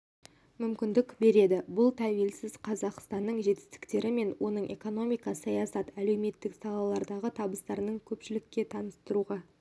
мүмкіндік береді бұл тәуелсіз қазақстанның жетістіктері мен оның экономика саясат әлеуметтік салалардағы табыстарын көпшілікке таныстыруға